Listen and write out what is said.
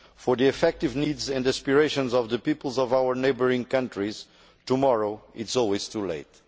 For the effective needs and aspirations of the peoples of our neighbouring countries, tomorrow is always too late.